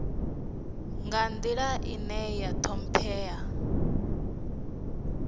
nga nḓila ine ya ṱhomphea